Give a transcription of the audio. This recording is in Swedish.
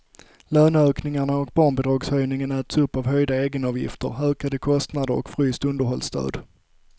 Löneökningarna och barnbidragshöjningen äts upp av höjda egenavgifter, ökade kostnader och fryst underhållsstöd.